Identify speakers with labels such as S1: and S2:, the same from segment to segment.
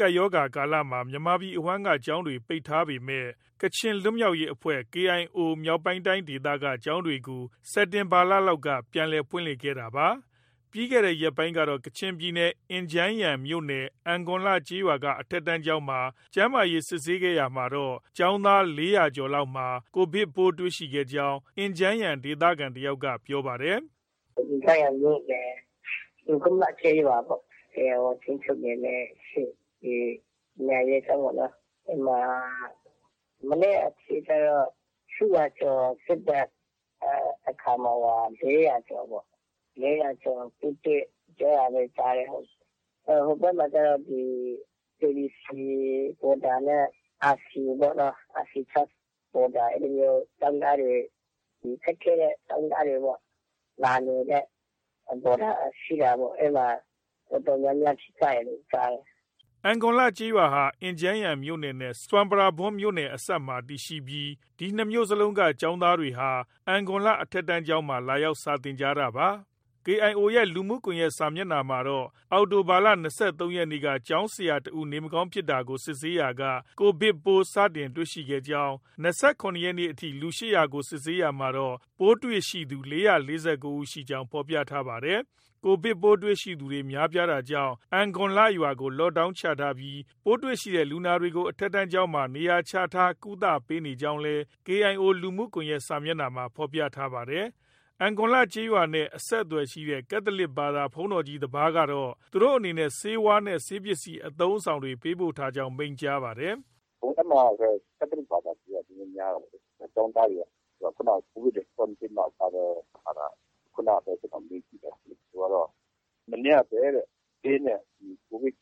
S1: ကပ်ရောဂါကာလမှာ မြန်မာပြည်အဝှမ်းက ကျောင်းတွေ ပိတ်ထားပေမဲ့ ကချင်လွတ်မြောက်ရေးအဖွဲ့ KIO မြောက်ပိုင်းတိုင်းဒေသက ကျောင်းတွေကို စက်တင်ဘာလလောက်က ပြန်လည် ဖွင့်လှစ်ခဲ့တာပါ။ ပြီးခဲ့တဲ့ ရက်ပိုင်းကတော့ ကချင်ပြည်နယ် အင်ဂျန်းယန်မြို့နယ် အင်ဂွမ်လ ကျေးရွာက အထက်တန်းကျောင်းမှာ ကျန်းမာရေးစစ်ဆေးရာမှာ ကျောင်းသား ၄၀၀ ကျော်လောက်မှာ Covid ပိုးတွေ့ခဲ့ကြောင်း အင်ဂျန်းယန်ဒေသခံ တစ်ယောက်က ပြောပါတယ်
S2: ။ “ အင်ဂျန်းယန်မြို့နယ် အင်ဂွမ်လ ကျေးရွာပေါ့။ KIO ထိန်းချုပ်နယ်မြေက ပညာရေးကျောင်းပေ့ါနော်။ အဲဒီမှာ မနေ့က အထိ ၈၀၀ ကျော် စစ်တဲ့ အခါမှာ ၄၀၀ ကျော်ပေါ့။ ၄၀၀ကျော် ပိုးတွေ့တယ် ပြောတာ ကြားတယ်။ ဟိုဘက်မှာကျတော့ KBC ဘော်ဒါနဲ့ RC ပေ့ါ။ RC Church ဘော်ဒါ အဲလိုမျိုးကျောင်းသားတွေ၊ ခက်ခဲတဲ့ ကျောင်းသားတွေပေါ့။ လာနေတဲ့ ဘော်ဒါ ရှိတာပေါ့။ အဲဒီမှာ တော်တော်များများ ဖြစ်ကြတယ်လို့ ကြားတယ်။”
S1: အင်ဂွမ်လကျေးရွာဟာ အင်ဂျန်းယန်မြို့နယ်နဲ့ ဆွမ်ပရာဘွမ်မြို့နယ် အစပ်ဒေသမှာ တည်ရှိပြီး ဒီနှစ်မြို့နယ်လုံးက ကျောင်းသားတွေဟာ အင်ဂွမ်လ အထက်တန်းကျောင်းမှာ လာရောက် စာသင်ကြတာပါ။ KIO ရဲ့ လူမှုကွန်ရက်စာမျက်နှာမှာတော့ အောက်တိုဘာလ ၂၃ရက်နေ့က ကျောင်းဆရာတစ်ဦး နေမကောင်းဖြစ်တာကို စစ်ဆေးရာက Covid ပိုး စတင်တွေ့ခဲ့ကြောင်း၊ ၂၇ရက်နေ့အထိ လူ ၈၀၀ ကိုစစ်ဆေးရာမှာတော့ ပိုးတွေ့သူ ၄၄၉ ဦးရှိကြောင်း ဖော်ပြထားပါတယ်။ Covid ပိုးတွေ့သူ များပြားတာကြောင့် အင်ဂွမ်းလရွာကို Lockdown ချထားပြီး ပိုးတွေ့လူနာတွေကို အထက်တန်းကျောင်းမှာ နေရာချထား ကုသပေးနေကြောင်းလည်း KIO လူမှုကွန်ရက်စာမျက်နှာမှာ ဖော်ပြပါတယ်။ အင်ဂွမ်လ ကျေးရွာနဲ့ အဆက်အသွယ်ရှိတဲ့ ကက်သလစ်ဘာသာ ဘုန်းတော်ကြီး တစ်ပါးကတော့ သူတို့အနေနဲ့ ဆေးဝါးနဲ့ ဆေးပစ္စည်းအသုံးအဆောင်တွေ ပေးပို့ထားကြောင်း မိန့်ကြားပါတယ်။
S2: “ အဲဒီမှာတော့ ကက်သလစ်ဘာသာတွေက နည်းနည်းများတာပေါ့လေ။ ကျောင်းသားတွေက။ ခုနကပဲ Covid Response Team မှာ ပါတဲ့ ဖာသာ ခုနကပဲ ကျနော် မေးကြည့်လိုက်တယ်။ သူက မနေ့ကပဲတဲ့ ဆေးနဲ့ Covid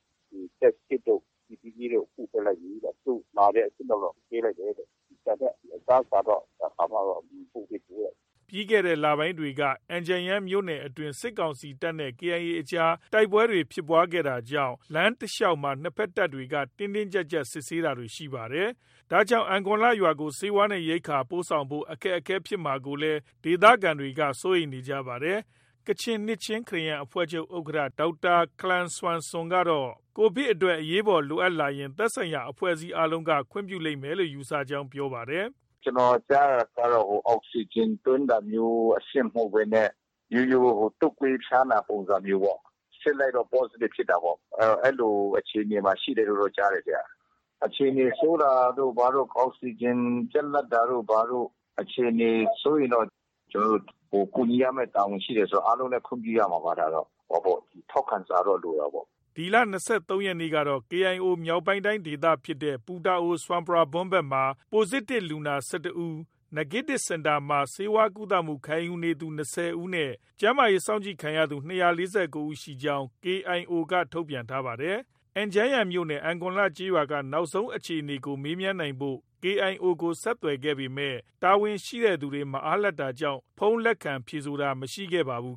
S2: Test Kit တို့၊ PPE တို့ ပို့ပေးလိုက်ပြီတဲ့ အခု မှာတဲ့ အဆင့်တော့ ပေးလိုက်တယ်တဲ့။ ဒါပေမဲ့ အစားအစာတော့ ဘာမှတော့ ပို့မပေးသေးဘူးတဲ့။”
S1: ပြီးခဲ့တဲ့ လပိုင်းတွေက အင်ဂျန်ယန်မြို့နယ်အတွင်း စစ်ကောင်စီတပ်နဲ့ KIA အကြား တိုက်ပွဲတွေ ဖြစ်ပွားခဲ့တာကြောင့် လမ်းတလျောက်မှာ နှစ်ဘက် တပ်တွေက တင်းတင်းကြပ်ကြပ်စစ်ဆေးတာတွေ ရှိနေပါတယ်။ ဒါကြောင့် အင်ဂွမ်လရွာကို ဆေးဝါးနဲ့ ရိက္ခာ ပို့ဆောင်ဖို့ အခက်အခဲဖြစ်မှာကိုလည်း ဒေသခံတွေက စိုးရိမ်နေကြပါတယ်။ ကချင်နှစ်ခြင်းခရစ်ယာန်အဖွဲ့ချုပ် ဥက္ကဌ ဒေါက်တာ ခလမ်ဆမ်ဆွန် ကတော့ Covid အတွက် အရေးပေါ် လိုအပ်လာရင် သက်ဆိုင်ရာ အဖွဲ့အစည်းအားလုံးက ခွင့်ပြုလိမ့်မယ်လို့ ယူဆကြောင်း ပြောပါတယ်။
S2: “ ကျနော် ကြားတာကတော့ အောက်စီဂျင်သွင်းတာမျိုး အဆင့်မဟုတ်ဘဲနဲ့ ရိုးရိုး တုပ်ကွေးဖျားနာပုံစံမျိုးပေါ့။ စစ်လိုက်တော့ Positive ဖြစ်တာပေါ့။ အဲလိုအခြေအနေမှာ ရှိတယ်လို့ တော့ ကြားတယ်။ အခြေအနေဆိုးတာတို့ ဘာတို့ ၊ အောက်စီဂျင်ပြတ်လပ်တာတို့ အခြေအနေ ဆိုးရင်တော့ ကျနော်တို့ ကူညီရမယ့် တာဝန်ရှိတယ်ဆိုတော့ အားလုံးလည်း ခွင့်ပြုရမှာပါ။ ဒါတော့။ ဟိုဟာပေါ့ ထောက်ခံစာတော့ လိုတာပေါ့။”
S1: ဒီလ ၂၃ ရက်နေ့ကတော့ KIO မြောက်ပိုင်းတိုင်း ဒေသဖြစ်တဲ့ ပူတာအို၊ဆွမ်ပရာဘွမ်ဘက်မှာ Positive လူနာ ၁၁ဦး၊ Negative Center မှာ ဆေးကုသမှုခံယူနေသူ ၂၀ ဦးနဲ့ ကျန်းမာရေး စောင့်ကြည့်ခံရသူ ၂၄၉ ဦး ရှိကြောင်း KIO က ထုတ်ပြန်ထားပါတယ်။ အင်ဂျန်းယန်မြို့နယ် အင်ဂွမ်လ ကျေးရွာက နောက်ဆုံးအခြေအနေကို မေးမြန်းနိုင်ဖို့ KIO ကို ဆက်သွယ်ခဲ့ပေမဲ့ တာဝန်ရှိသူတွေ မအားလပ်တာကြောင့် ဖုန်းလက်ခံ ဖြေဆိုတာ မရှိခဲ့ပါဘူး။